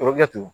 O bɛ kɛ ten